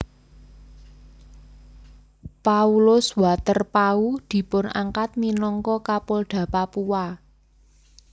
Paulus Waterpauw dipunangkat minangka Kapolda Papua